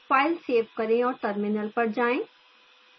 file save करें और terminal पर जाएं